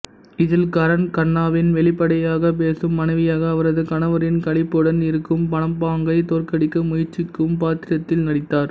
இதில் கரன் கண்ணாவின் வெளிப்படையாகப் பேசும் மனைவியாக அவரது கணவரின் களிப்புடன் இருக்கும் மனப்பாங்கை தோற்கடிக்க முயற்சிக்கும் பாத்திரத்தில் நடித்தார்